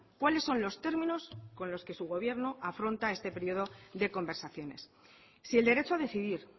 cuáles son los términos con los que su gobierno afronta este periodo de conversaciones si el derecho a decidir